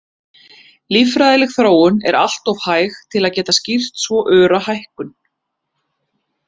Líffræðileg þróun er alltof hæg til að geta skýrt svo öra hækkun.